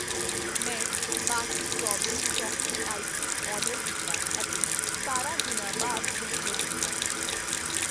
ਮੈਂ Baskin Robbins chocolate ice cream order ਕੀਤਾ ਅਤੇ ਸਤਾਰਾਂ ਦਿਨਾਂ ਬਾਅਦ ਡਿਲੀਵਰ ਕੀਤਾ।